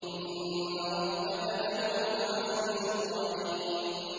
وَإِنَّ رَبَّكَ لَهُوَ الْعَزِيزُ الرَّحِيمُ